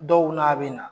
Dɔw n'a bɛ na